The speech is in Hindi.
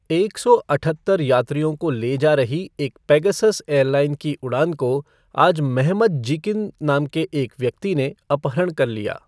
एक सौ अठहत्तर यात्रियों को ले जा रही एक पेगासस एयरलाइन की उड़ान को आज मेहमत जीकिन नाम के एक व्यक्ति ने अपहरण कर लिया।